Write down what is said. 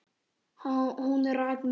Hún rak mig út.